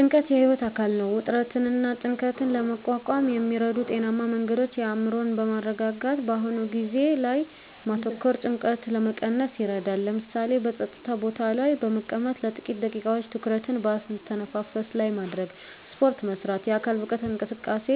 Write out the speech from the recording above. ጭንቀት የህይወት አካል ነው። ውጥረትንና ጭንቀትን ለመቋቋም የሚረዱ ጤናማ መንገዶች አእምሮን በማረጋጋት በአሁኑ ጊዜ ላይ ማተኮር ጭንቀትን ለመቀነስ ይረዳል። ለምሳሌ፣ በጸጥታ ቦታ ላይ በመቀመጥ ለጥቂት ደቂቃዎች ትኩረትን በአተነፋፈስ ላይ ማድረግ። ስፖርት መስራት: የአካል ብቃት እንቅስቃሴ